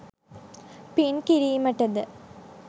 පින් කිරීමට ද